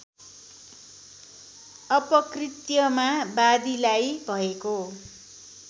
अपकृत्यमा वादीलाई भएको